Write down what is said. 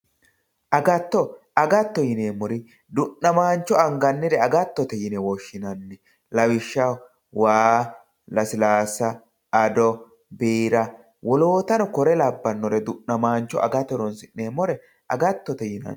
agatto agattote yine woshshinanniri du'namaancho agattote yine woshshinanni lawishshaho waa lasilaassa ado biira wolootano kore labbannore agate horonsi'neemmore agattote yine woshshinanni.